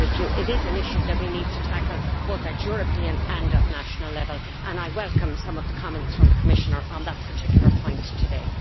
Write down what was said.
It is an issue that we need to tackle, both at European and at national level, and I welcome some of the comments from the Commissioner on that particular point today.